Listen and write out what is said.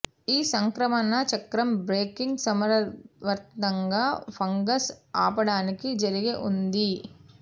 ఈ సంక్రమణ చక్రం బ్రేకింగ్ సమర్థవంతంగా ఫంగస్ ఆపడానికి జరిగే ఉంది